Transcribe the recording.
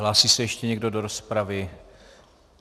Hlásí se ještě někdo do rozpravy?